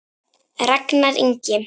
Ragnar Ingi.